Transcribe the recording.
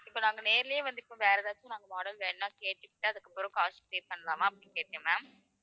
இப்ப நாங்க நேர்லயே இப்ப வேற ஏதாச்சும் model வேணா கேட்டுகிட்டு, அதுக்கப்புறம் காசு pay பண்ணலாமா அப்படின்னு கேட்டேன் ma'am